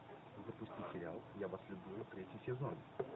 запусти сериал я вас люблю третий сезон